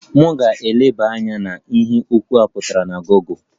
M ga-eleba anya n'ihe okwu a pụtara na Gọgụl